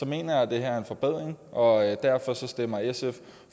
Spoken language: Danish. mener jeg at det her er en forbedring og derfor stemmer sf